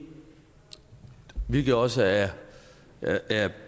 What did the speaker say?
hvilket også er